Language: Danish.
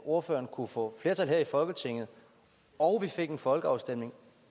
ordføreren kunne få flertal her i folketinget og vi fik en folkeafstemning